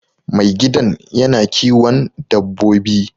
Mai gidan yana kiwon dabbobi